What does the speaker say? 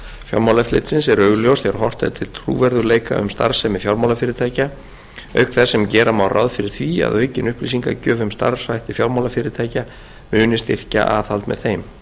fjármálaeftirlitsins eru augljós þegar horft er til trúverðugleika um starfsemi fjármálafyrirtækja auk þess sem gera má ráð fyrir því að aukin upplýsingagjöf um starfshætti fjármálafyrirtækja muni styrkja aðhald með þeim